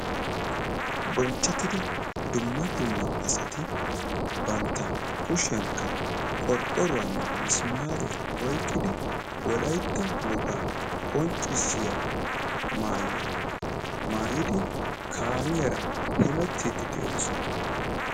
bonchettida dumma dumma asati bantta kushiyankka qorqqoruwaanne misimaariyaa oyqqqidi wolaytta wogaa qonccissiyaa maayuwa maayidi kaamiyaara hemettiiddi de'oosona..